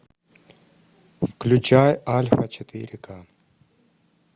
включай альфа четыре к